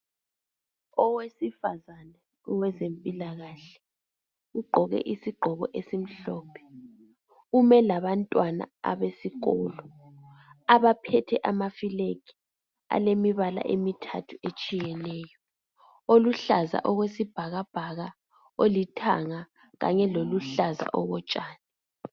Owesifazana owezempilakahke ugqoke isigqoko esimhlophe ume labantwana abesikolo abaphethe ama"flag" alemibala emithathu etshiyeneyo, oluhlaza okwesibhakabhaka, olithanga kanye loluhlaza okotshani.